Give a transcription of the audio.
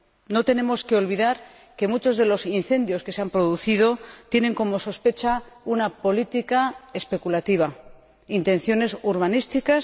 No tenemos que olvidar que sobre muchos de los incendios que se han producido planea la sospecha de una política especulativa, de intenciones urbanísticas.